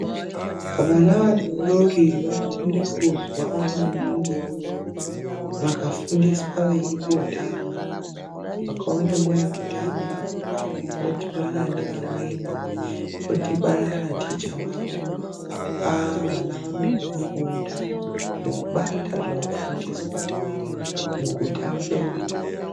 Vana vadodori vanopinda kuzwa maningi vakafundiswa veimbotamba. Vakaona nguva yekutamba, vodhibana ngevamweni, vodhibana naticha wavo, vana vanobva vafunda nekubata zvavafundiswa mukutamba umo.